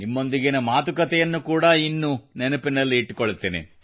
ನಿಮ್ಮೊಂದಿಗಿನ ಮಾತುಕತೆಯನ್ನು ಕೂಡಾ ಇನ್ನು ನೆನಪಿನಲ್ಲಿ ಇಟ್ಟುಕೊಳ್ಳುತ್ತೇನೆ